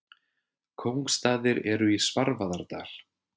Kóngsstaðir eru í Svarfaðardal.